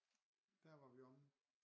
Der var vi omme